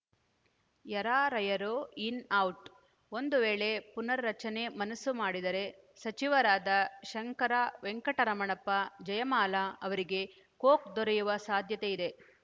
ಯರಾರ‍ಯರು in out ಒಂದು ವೇಳೆ ಪುನರ್‌ ರಚನೆಗೆ ಮನಸ್ಸು ಮಾಡಿದರೆ ಸಚಿವರಾದ ಶಂಕರ ವೆಂಕಟರಮಣ್ಣಪ್ಪ ಜಯಮಾಲಾ ಅವರಿಗೆ ಕೊಕ್‌ ದೊರೆಯುವ ಸಾಧ್ಯತೆಯಿದೆ